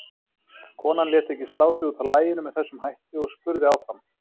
Konan lét ekki slá sig út af laginu með þessum hætti og spurði áfram